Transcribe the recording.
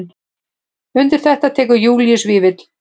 Undir þetta tekur Júlíus Vífill.